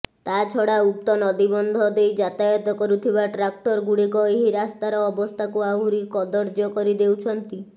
ତାଛଡା ଉକ୍ତ ନଦୀବନ୍ଧ ଦେଇ ଯାତାୟତ କରୁଥିବା ଟ୍ରାକ୍ଟର ଗୁଡିକ ଏହି ରାସ୍ତାର ଅବସ୍ଥାକୁ ଆହୁରି କଦର୍ଯ୍ୟ କରିଦେଉଛନ୍ତି